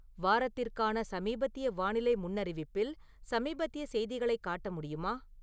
வாரத்திற்கான சமீபத்திய வானிலை முன்னறிவிப்பில் சமீபத்திய செய்திகளை காட்ட முடியுமா?